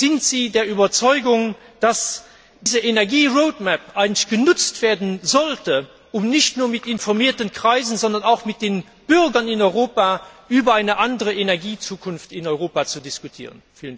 Sind Sie auch der Überzeugung, dass diese Energie Roadmap 2050 genutzt werden sollte, um nicht nur mit informierten Kreisen, sondern auch mit den Bürgern in Europa über eine andere Energiezukunft in Europa zu diskutieren?